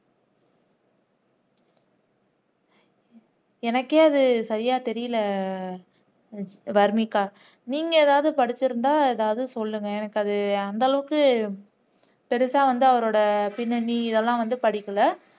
எனக்கே அது சரியா தெரியல வர்னிகா நீங்க ஏதாவது படிச்சிருந்தா ஏதாவது சொல்லுங்க எனக்கு அது அந்த அளவுக்கு பெருசா வந்து அவரோட பின்னணி இதெல்லாம் வந்து படிக்கல